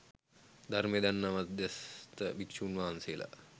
ධර්මය දන්න මධ්‍යස්ථ භික්‍ෂූන් වහන්සේලා